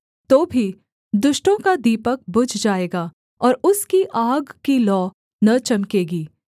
तो भी दुष्टों का दीपक बुझ जाएगा और उसकी आग की लौ न चमकेगी